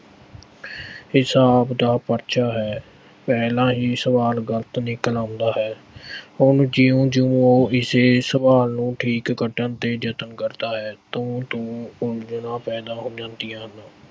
ਹਿਸਾਬ ਦਾ ਪਰਚਾ ਹੈ ਪਹਿਲਾ ਹੀ ਸਵਾਲ ਗਲਤ ਨਿਕਲ ਆਉਂਦਾ ਹੈ, ਹੁਣ ਜਿਉਂ-ਜਿਉਂ ਉਹ ਇਸ ਸਵਾਲ ਨੂੰ ਠੀਕ ਕੱਢਣ ਦੇ ਯਤਨ ਕਰਦਾ ਹੈ ਤਿਉਂ-ਤਿਉਂ ਉਲਝਣਾ ਪੈਦਾ ਹੋ ਜਾਂਦੀਆ ਹਨ।